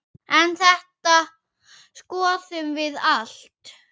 En þetta skoðum við allt.